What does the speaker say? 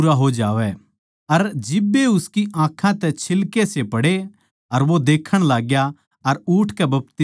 अर जिब्बे उसकी आँखां तै छिल्केसे पड़े अर वो देखण लाग्या अर उठकै बपतिस्मा लिया